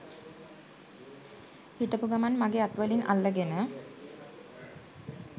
හිටපු ගමන් මගෙ අත් වලින් අල්ලගෙන